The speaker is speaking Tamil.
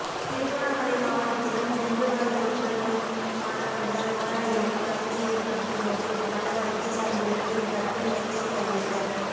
திருகோணமலை மாவட்டத்திலும் டெங்கு நோய் தொற்று நோய் காணப்படுவதால் நோயாளிகளுக்கு வசதியேற்படுத்தும் நோக்கில் பல வைத்தியசாலைகளுக்கு கட்டில் மெத்தை கையளித்தல்